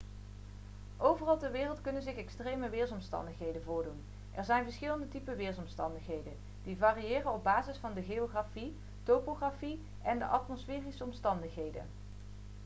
overal ter wereld kunnen zich extreme weersomstandigheden voordoen er zijn verschillende typen weersomstandigheden die variëren op basis van de geografie topografie en de atmosferische omstandigheden